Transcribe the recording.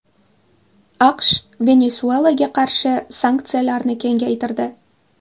AQSh Venesuelaga qarshi sanksiyalarni kengaytirdi.